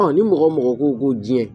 ni mɔgɔ mɔgɔ ko ko diɲɛ